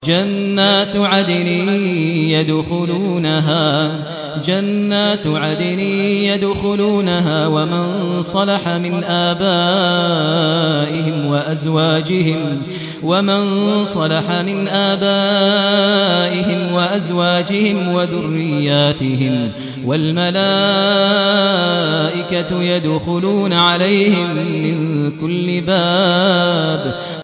جَنَّاتُ عَدْنٍ يَدْخُلُونَهَا وَمَن صَلَحَ مِنْ آبَائِهِمْ وَأَزْوَاجِهِمْ وَذُرِّيَّاتِهِمْ ۖ وَالْمَلَائِكَةُ يَدْخُلُونَ عَلَيْهِم مِّن كُلِّ بَابٍ